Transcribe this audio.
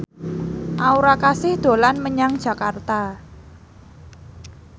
Aura Kasih dolan menyang Jakarta